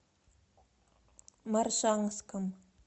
моршанском